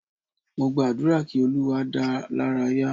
Mo gba àdúrà kí Olúwa dáa lára ya